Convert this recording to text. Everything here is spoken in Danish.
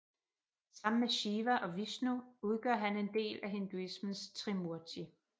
Sammen med Shiva og Vishnu udgør han en del af hinduismens Trimurti